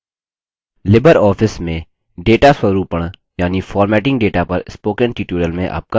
Libre office में data स्वरूपण यानि formatting data पर spoken tutorial में आपका स्वागत है